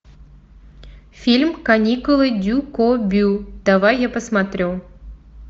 фильм каникулы дюкобю давай я посмотрю